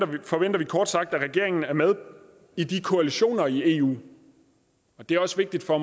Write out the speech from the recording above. forventer vi kort sagt at regeringen er med i de koalitioner i eu og det er også vigtigt for